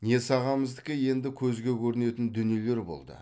несағамыздікі енді көзге көрінетін дүниелер болды